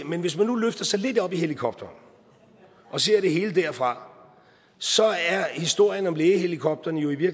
men hvis man nu løfter sig lidt op i helikopteren og ser det hele derfra så er historien om lægehelikopterne jo i